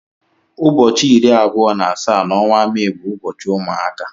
Ụbọchị iri abụọ na asaa na onwa Mee bụ ụbọchị ụmụaka.